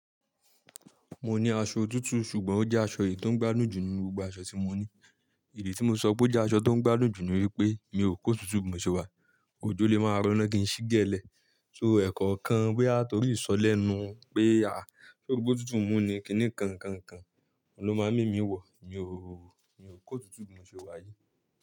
Mo ní aṣọ otutu ṣùgbọ́n ó jẹ́ aṣọ èyí tó ń gbádùn jù nínú gbogbo aṣọ tí mo ní. Idi tí mo sọ pé ó jẹ́ aṣọ tó ń gbádùn jù ni wípé mi ò kó otutu bi mo sewá yi, òjo lè máa roná kí n sí gélẹ́. So ẹ̀kọ̀kan boya torí isọ̀ lẹ́nu pe á, sóri pe otutu mú ni, kíní kan nkankan, òun ló máa mu emi wọ̀, mi ò kó otutu bi mo sewá yí.